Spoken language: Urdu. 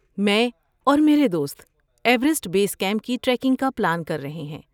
میں اور میرے دوست ایورسٹ بیس کیمپ کی ٹریکنگ کا پلان کر رہے ہیں۔